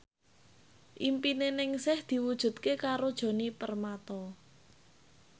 impine Ningsih diwujudke karo Djoni Permato